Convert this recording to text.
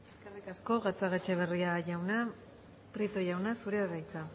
eskerrik asko gatzagaetxebarria jauna prieto jauna zurea da hitza